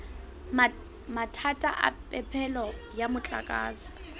mathata a phepelo ya motlakase